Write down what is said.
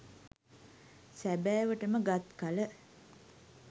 සැබෑවට ම ගත් කළ